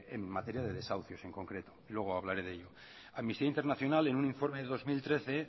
en materia de desahucios en concreto luego hablaré de ello amnistía internacional en un informe de dos mil trece